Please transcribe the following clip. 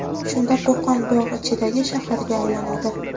Shunda Qo‘qon bog‘ ichidagi shaharga aylanadi.